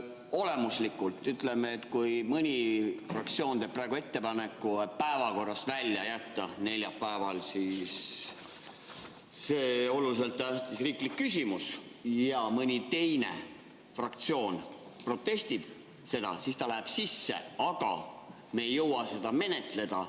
Olemuslikult, ütleme, et kui mõni fraktsioon teeb praegu ettepaneku päevakorrast välja jätta neljapäeval see oluliselt tähtis riiklik küsimus ja mõni teine fraktsioon protestib seda, siis ta läheb sisse, aga me ei jõua seda menetleda.